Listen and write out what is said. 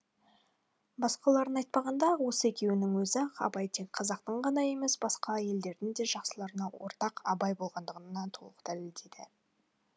басқаларын айтпағанда осы екеуінің өзі ақ абай тек қазақтың ғана емес басқа елдердің де жақсыларына ортақ абай болғандығын толық дәлелдейді